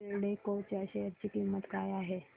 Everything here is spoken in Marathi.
एल्डेको च्या शेअर ची किंमत काय आहे